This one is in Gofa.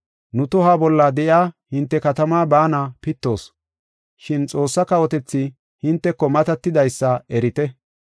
‘Nu tohuwa bolla de7iya hinte katamaa baana pittoos, shin Xoossaa kawotethi hinteko matatidaysa erite.’